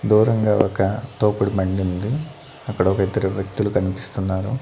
దూరంగా ఒక తోపుడు బన్డుంది అక్కడ ఒకిద్దరు వ్యక్తులు కనిపిస్తున్నారు.